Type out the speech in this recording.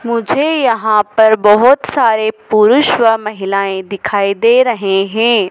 मुझे यहां पर बहोत सारे पुरुष व महिलाएं दिखाई दे रहे हैं।